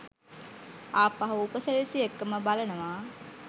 ආපහු උපසිරැසි එක්කම බලනවා.